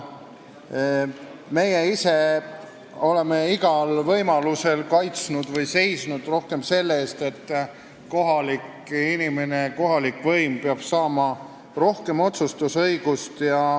Meie ise oleme igal võimalusel kaitsnud seda või seisnud rohkem selle eest, et kohalik inimene, kohalik võim saaks rohkem otsustusõigust.